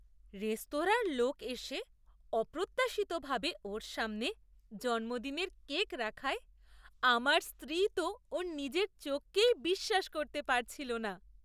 রেস্তোরাঁর লোক এসে অপ্রত্যাশিতভাবে ওর সামনে জন্মদিনের কেক রাখায় আমার স্ত্রী তো ওর নিজের চোখকেই বিশ্বাস করতে পারছিল না।